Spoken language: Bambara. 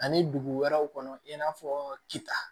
Ani dugu wɛrɛw kɔnɔ i n'a fɔ k